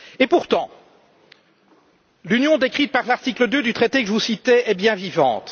Pourtant, l'Union décrite par l'article 2 du traité que je vous citais est bien vivante.